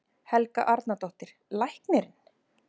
Helga Arnardóttir: Læknirinn?